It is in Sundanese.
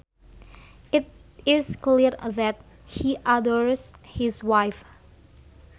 It is clear that he adores his wife